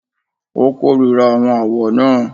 Ó kórìíra àwọn àwọ̀ náà.